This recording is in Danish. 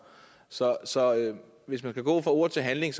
så så hvis man vil gå fra ord til handling